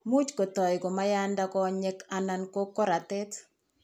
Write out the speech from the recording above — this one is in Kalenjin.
Much ko toi koma yanda konyek anan ko koratet.